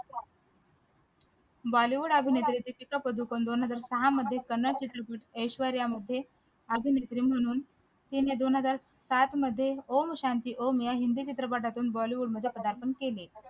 bollywood अभिनेत्री दीपिका पादुकोण दोन हजार सहा मध्ये कन्नड चित्रपट ऐश्वर्या मध्ये अभिनेत्री म्हणून तिने दोन हजार सात मध्ये om shanti om या हिंदी चित्रपटातून bollywood मध्ये प्रधारपण केले